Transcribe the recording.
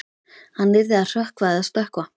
Hann yrði að hrökkva eða stökkva.